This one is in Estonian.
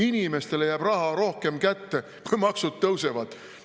Inimestele jääb raha rohkem kätte, kui maksud tõusevad?